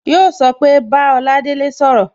Yo so pé Bá Oladele sọ̀rọ̀